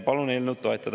Palun eelnõu toetada.